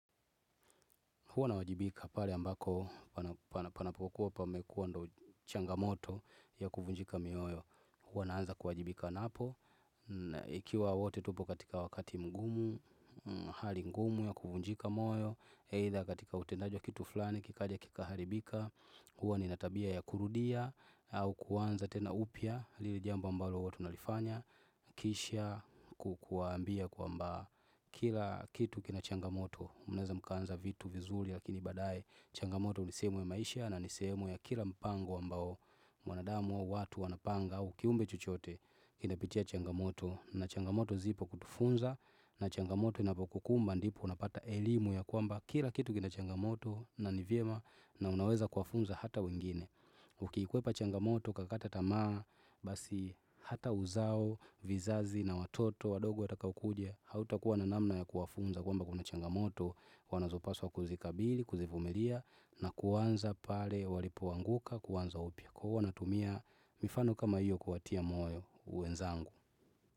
Huwa na wajibika pale ambako panapokuwa pa mekuwa ndo changamoto ya kuvunjika mioyo huwa naanza kuwajibika napo Ikiwa wote tupo katika wakati mgumu, hali mgumu ya kuvunjika moyo eidha katika utendajiwa kitu fulani kikaja kika haribika huwa ni natabia ya kurudia au kuwanza tena upya lile jambo ambalo huwatu nalifanya Kisha kukwambia kwa mba kila kitu kina changamoto Mnaweza mkaanza vitu vizuri lakini baadaye changamoto nisehemuya maisha na nisehemu ya kila mpango ambao mwanadamu au watu wanapanga aukiumbe chochote inapitia changamoto na changamoto zipo kutufunza na changamoto inapokukumba ndipo unapata elimu ya kwamba Kila kitu kina changamoto na nivyema na unaweza kuwafunza hata wengine Ukiikwepa changamoto ukakata tamaa basi hata uzao vizazi na watoto wadogo watakao kuja Hauta kuwa nanamna ya kuwafunza kwa mba kuna changamoto wana zopaswa kuzikabili, kuzivumilia na kuanza pale walipoanguka kuanza upya Kwahiyohuwa tumia mifano kama hiyo kuwatia moyo wenzangu.